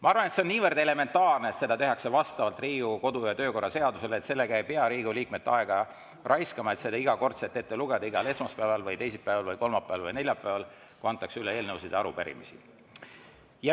" Ma arvan, et see on niivõrd elementaarne, et seda tehakse vastavalt Riigikogu kodu‑ ja töökorra seadusele, et sellega ei pea Riigikogu liikmete aega raiskama, et seda iga kord ette lugeda igal esmaspäeval või teisipäeval või kolmapäeval või neljapäeval, kui antakse üle eelnõusid ja arupärimisi.